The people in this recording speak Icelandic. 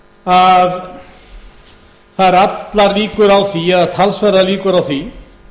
að það eru allar líkur eða talsverðar líkur á því